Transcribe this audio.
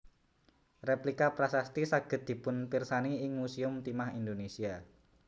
Rèplika prasasti saged dipunpirsani ing Musèum Timah Indonesia